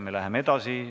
Läheme edasi.